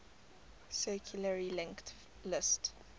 circularly linked list